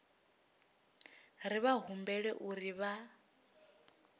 ri vha humbela uri vha